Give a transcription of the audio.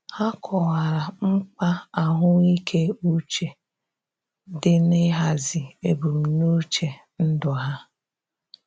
Ha kọwara mkpa ahụike uche di n'ihazi ebumnuche ndụ ha.